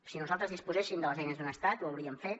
si nosaltres disposéssim de les eines d’un estat ho hauríem fet